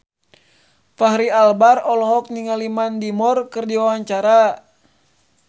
Fachri Albar olohok ningali Mandy Moore keur diwawancara